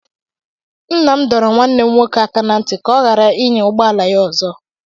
Nna m dọrọ nwanne m nwoke aka na ntị ka ọ ghara ịnya ụgbọ ala ya ọzọ.